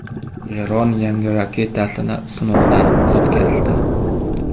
Eron yangi raketasini sinovdan o‘tkazdi.